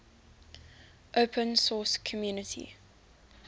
open source community